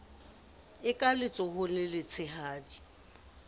e ka letsohong le letshehadi